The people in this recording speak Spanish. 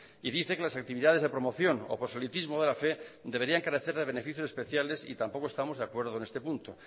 y dice que las actividades de promoción o proselitismo de la fe deberían crecer de beneficios especiales y tampoco estamos de acuerdo con este punto